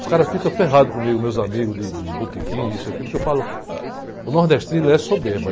Os caras ficam ferrados comigo, meus amigos de de botequim, isso e aquilo, porque eu falo, o nordestino, ele é soberba.